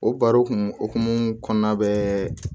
O barokun hokumu kɔnɔna bɛɛ